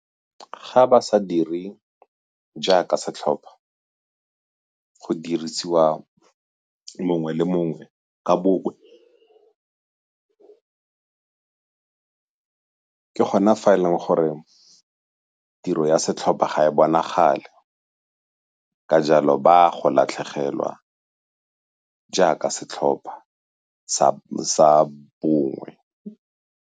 Ga ba sa diri jaaka setlhopha, go dirisiwa mongwe le mongwe ka bongwe ke gona fa e leng gore tiro ya setlhopha ga e bonagale ka jalo ba a go latlhegelwa jaaka setlhopha sa bongwe.